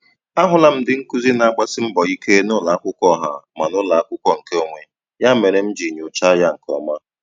Ahụla m ndị nkụzi na-agbasi mbọ ike n'ụlọ akwụkwọ ọha ma n'ụlọ akwụkwọ nke onwe, ya mere m ji nyocha ya nke ọma.